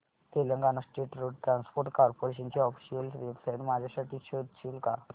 Telangana state road transport corporation ची official website माझ्यासाठी शोधशील का